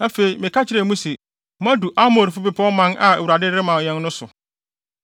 Afei, meka kyerɛɛ mo se, “Moadu Amorifo bepɔw man a Awurade de rema yɛn no so.